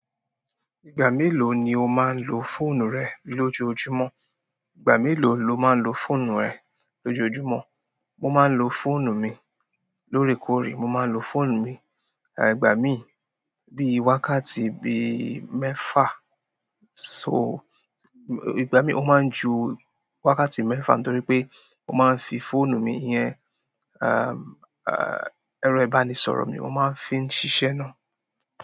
Ìgbà mélòó ni o máa ń lo fóònù rẹ lójoójúmọ̀? Ìgbà mélòó lo máa ń lo fóònù rẹ lójoójúmọ̀? Mo máa ń lo fóònù mi lóòrèkóòrè. Mo máa ń lo fóònù mi ìgbà mí bíi wákàtí bíi mẹ́fà. So, ìgbà míì ó máa ń ju wákàtí mẹ́fà nítorí pé mo máa ń fi fóònù mi, ìyẹn ẹran ìbánisọ̀rọ̀ mi mo máa ń fi ń ṣiṣẹ́ náà.